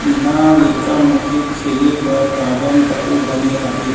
इंहा लइका मन के खेले बर गार्डन तको बने हबे।